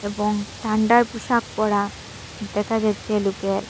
এবং ঠান্ডার পোশাক পরা দেখা যাচ্ছে লোকের।